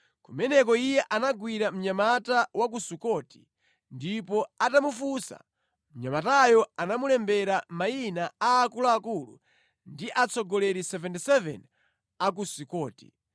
Kumeneko iye anagwira mnyamata wa ku Sukoti ndipo atamufunsa, mnyamatayo anamulembera mayina a akuluakulu ndi atsogoleri 77 a ku Sukoti.